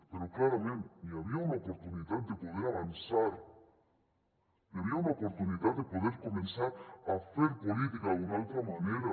però clarament n’hi havia una oportunitat de poder avançar n’hi havia una oportunitat de poder començar a fer política d’una altra manera